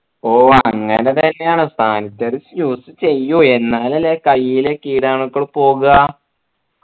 ഓ അങ്ങനെ തന്നെ ആണ് sanitizer use ചെയ്യൂ എന്നാൽ അല്ലെ കയ്യിലെ കീടാണുക്കൾ പോവുക